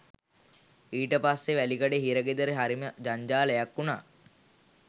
ඊට පස්සෙ වැලිකඩ හිර ගෙදර හරිම ජංජාලයක් වුණා